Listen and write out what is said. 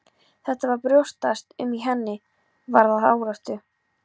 Þetta var að brjótast um í henni, varð að áráttu.